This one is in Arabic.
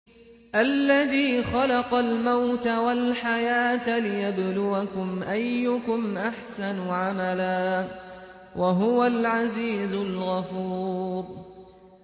الَّذِي خَلَقَ الْمَوْتَ وَالْحَيَاةَ لِيَبْلُوَكُمْ أَيُّكُمْ أَحْسَنُ عَمَلًا ۚ وَهُوَ الْعَزِيزُ الْغَفُورُ